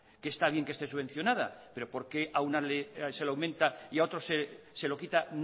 está bien que esté subvencionada pero por qué a una se la aumenta y a otro se lo quita